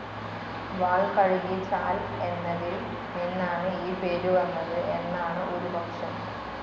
വാൾ കഴുകി ചാൽ എന്നതിൽ നിന്നാണ് ഈ പേര് വന്നത് എന്നാണ് ഒരു പക്ഷം.